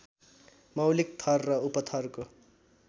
मौलिक थर र उपथरको